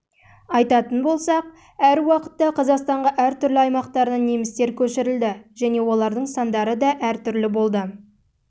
айтатын болсақ әр уақытта қазақстанға әр түрлі аймақтарынан немістер көшірілді және олардың сандары да әр